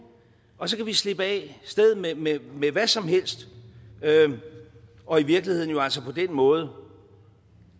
og så kan vi slippe af sted med med hvad som helst og i virkeligheden jo altså på den måde